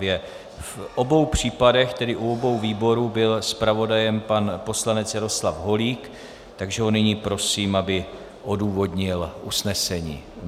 V obou případech, tedy u obou výborů, byl zpravodajem pan poslanec Jaroslav Holík, takže ho nyní prosím, aby odůvodnil usnesení.